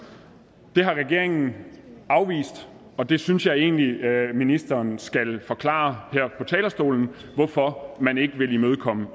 det har regeringen afvist og det synes jeg egentlig at ministeren skal forklare her på talerstolen hvorfor man ikke vil imødekomme